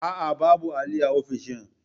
A'a, babu alli a ofishin